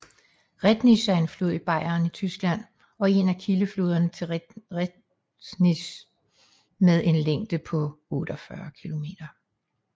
Rednitz er en flod i Bayern i Tyskland og en af kildefloderne til Regnitz med en længde på 48 km